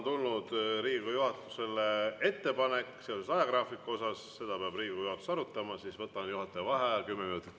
Kuna Riigikogu juhatusele on tulnud ettepanek töö ajagraafiku kohta, siis peab Riigikogu juhatus seda arutama ja ma võtan juhataja vaheaja kümme minutit.